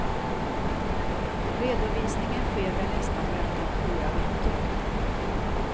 Redovisningen sker vid nästa möte om fyra veckor.